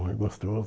É gostoso.